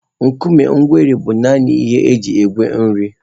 Nkume egweri bụ nanị ihe e ji egwe nri.